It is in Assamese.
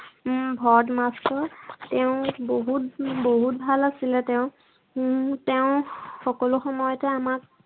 উম ভৰত master তেওঁ বহুত উম বহুত ভাল আছিলে তেওঁ। উম তেওঁ সকলো সময়তে আমাক